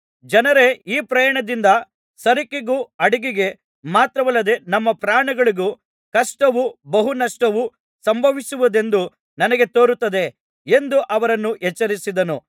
ಜನರೇ ಈ ಪ್ರಯಾಣದಿಂದ ಸರಕಿಗೂ ಹಡಗಿಗೆ ಮಾತ್ರವಲ್ಲದೆ ನಮ್ಮ ಪ್ರಾಣಗಳಿಗೂ ಕಷ್ಟವೂ ಬಹು ನಷ್ಟವೂ ಸಂಭವಿಸುವುದೆಂದು ನನಗೆ ತೋರುತ್ತಿದೆ ಎಂದು ಅವರನ್ನು ಎಚ್ಚರಿಸಿದನು